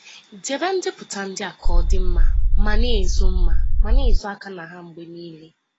Debe ndepụta ndị a ka ọ dị mma, ma na-ezo mma, ma na-ezo aka na ha mgbe niile.